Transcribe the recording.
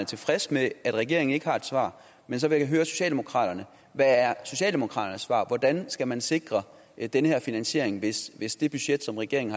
tilfreds med at regeringen ikke har et svar men så vil jeg høre socialdemokraterne hvad er socialdemokraterne svar hvordan skal man sikre den her finansiering hvis hvis det budget som regeringen